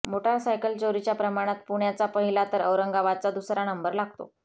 motorcycle चोरीच्या प्रमाणात पुण्याचा पहिला तर औरंगाबादचा दुसरा नंबर लागतो